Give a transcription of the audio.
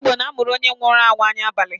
Ndị igbo na-amụrụ onye nwụrụ anwụ anya abalị.